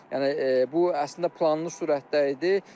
Yəni bu əslində planlı surətdə idi.